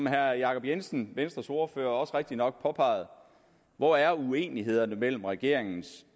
herre jacob jensen venstres ordfører påpegede rigtigt nok hvor er uenighederne mellem regeringens